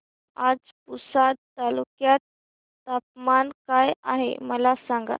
आज पुसद तालुक्यात तापमान काय आहे मला सांगा